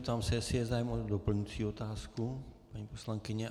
Ptám se, jestli je zájem o doplňující otázku, paní poslankyně.